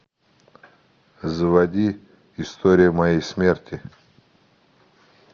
заводи история моей смерти